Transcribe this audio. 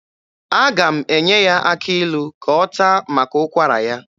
Aga m enye ya akị ilu ka ọ taa maka ụkwara ya.